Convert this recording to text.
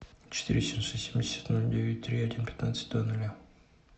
четыре семьсот семьдесят ноль девять три один пятнадцать два ноля